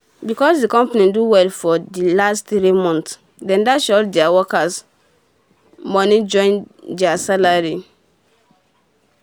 becos d company do well for d last three months dem dash all deir workes moni join salary um